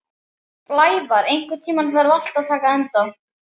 Blævar, einhvern tímann þarf allt að taka enda.